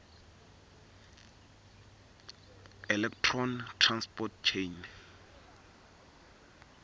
electron transport chain